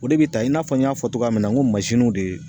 O de be ta i n'a fɔ n y'a fɔ togoya min na n ko mansinuw de